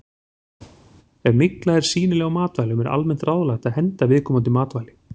Ef mygla er sýnileg á matvælum er almennt ráðlagt að henda viðkomandi matvæli.